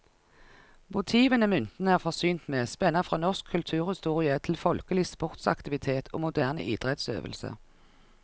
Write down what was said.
Motivene myntene er forsynt med, spenner fra norsk kulturhistorie til folkelig sportsaktivitet og moderne idrettsøvelse.